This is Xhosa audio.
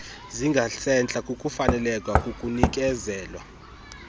zingasentla kukufaneleka kukunikezelwa